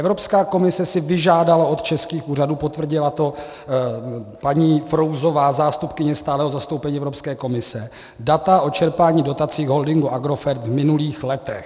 Evropská komise si vyžádala od českých úřadů, potvrdila to paní Frouzová, zástupkyně stálého zastoupení Evropské komise, data o čerpání dotací holdingu Agrofert v minulých letech.